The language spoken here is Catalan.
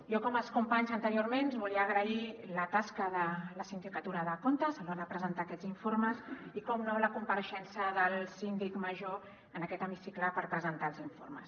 jo com els companys anteriorment volia agrair la tasca de la sindicatura de comptes a l’hora de presentar aquests informes i per descomptat la compareixença del síndic major en aquest hemicicle per presentar els informes